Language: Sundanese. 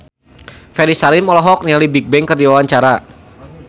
Ferry Salim olohok ningali Bigbang keur diwawancara